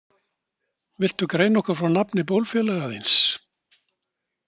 Viltu greina okkur frá nafni bólfélaga þíns?